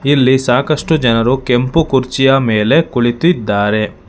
ಇಲ್ಲಿ ಸಾಕಷ್ಟು ಜನರು ಕೆಂಪು ಕುರ್ಚಿಯ ಮೇಲೆ ಕುಳಿತಿದ್ದಾರೆ.